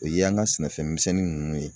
O ye an ka sɛnɛfɛn misɛnnin ninnu ye